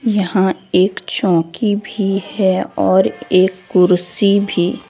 यहां एक चौकी भी है और एक कुर्सी भी।